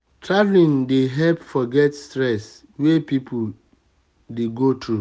travelling dey help forget stress wey person dey go through